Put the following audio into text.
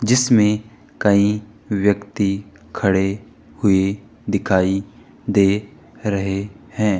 जिसमें कई व्यक्ति खड़े हुए दिखाई दे रहे हैं।